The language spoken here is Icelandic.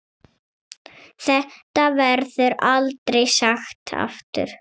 Þetta verður aldrei sagt aftur.